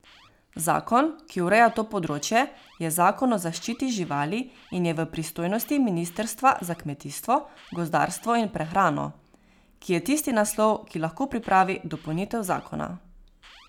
Zakon, ki ureja to področje, je Zakon o zaščiti živali in je v pristojnosti Ministrstva za kmetijstvo, gozdarstvo in prehrano, ki je tisti naslov, ki lahko pripravi dopolnitev zakona.